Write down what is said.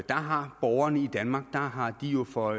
har borgerne i danmark jo for